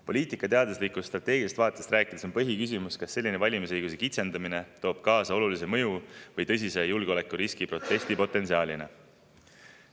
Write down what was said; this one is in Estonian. Poliitikateaduslikust strateegilisest vaatest rääkides on põhiküsimus, kas selline valimisõiguse kitsendamine toob kaasa olulise mõju või tõsise julgeolekuriski protestipotentsiaalina.